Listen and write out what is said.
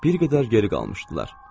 Bir qədər geri qalmışdılar.